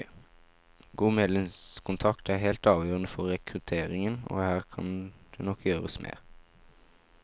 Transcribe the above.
God medlemskontakt er helt avgjørende for rekrutteringen, og her kan det nok gjøres mer.